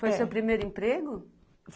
Foi seu primeiro emprego?